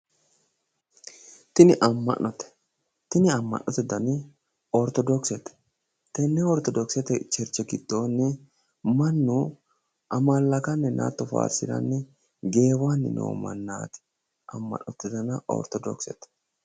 Tini amma'note. Tini amma'note dani orthodokseete. Tenne orthodoxete cherche giddoonni mannu amallakanninna hatto faarsiranni hatto geewanni noo maannaati ama'note dani orthodokseete